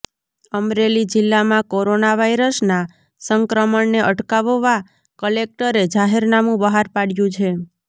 અમરેલી જિલ્લામાં કોરોના વાયરસના સંક્રમણને અટકાવવા કલેકટરે જાહેનામું બહાર પાડ્યું છે